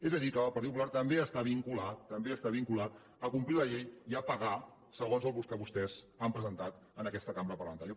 és a dir que el partit popular també està vinculat també està vinculat a complir la llei i a pagar segons el que vostès han presentat en aquesta cambra parlamentària